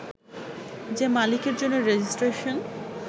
যে মালিকের জন্য রেজিস্ট্রেশন